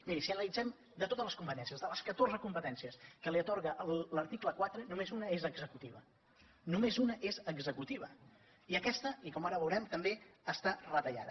miri si analitzem totes les competències de les catorze competències que li atorga l’article quatre només una és executiva i aquesta i com ara veurem també està retallada